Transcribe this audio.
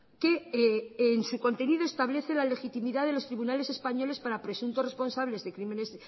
que en su contenido se establece la legitimidad de los tribunales españoles para presuntos responsables de crímenes